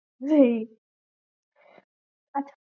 সেই আচ্ছা